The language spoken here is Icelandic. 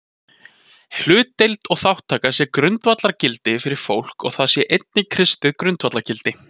Hlutdeild og þátttaka sé grundvallargildi fyrir fólk og það sé einnig kristið grundvallargildi.